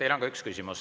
Teile on ka üks küsimus.